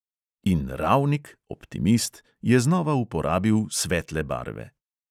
In ravnik, optimist, je znova uporabil svetle barve.